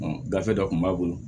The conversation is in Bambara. gafe dɔ kun b'a bolo